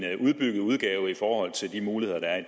udbygget udgave set i forhold til de muligheder der er i